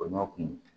O ɲɔ kun